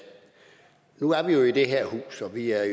nu er vi jo i det her hus og vi er